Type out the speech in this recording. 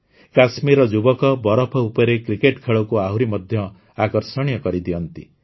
କାଶ୍ମୀରର ଯୁବକ ବରଫ ଉପରେ କ୍ରିକେଟ ଖେଳକୁ ଆହୁରି ମଧ୍ୟ ଆକର୍ଷଣୀୟ କରିଦିଅନ୍ତି